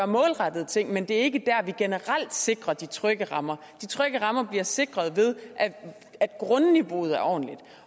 målrettede ting men det er ikke dér vi generelt sikrer de trygge rammer de trygge rammer bliver sikret ved at grundniveauet er ordentligt